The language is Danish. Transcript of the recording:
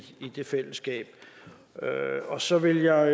det fællesskab så vil jeg